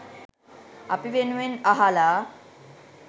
අපි වෙනුවෙන් අහලා